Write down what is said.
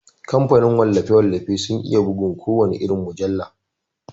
Kamfanin wallafe-wallafe sun iya bugun kowana irin mujalla.